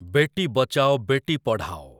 ବେଟି ବଚାଓ ବେଟି ପଢ଼ାଓ